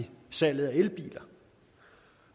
salget af elbiler